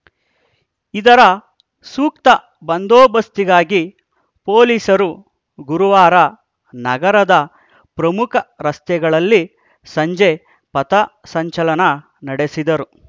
ಇದರ ಸೂಕ್ತ ಬಂದೋಬಸ್ತಿಗಾಗಿ ಪೊಲೀಸರು ಗುರುವಾರ ನಗರದ ಪ್ರಮುಖ ರಸ್ತೆಗಳಲ್ಲಿ ಸಂಜೆ ಪಥ ಸಂಚಲನ ನಡೆಸಿದರು